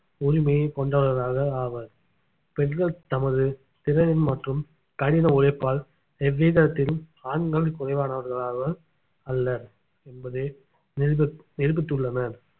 உரிமையை கொண்டவர்களாக ஆவர் பெண்கள் தமது திறனின் மற்றும் கடின உழைப்பால் எவ்விதத்திலும் ஆண்கள் குறைவானவர்களாக அல்ல என்பதை நிரூபித்~ நிரூபித்துள்ளனர்